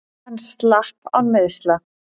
Hann slapp án meiðsla.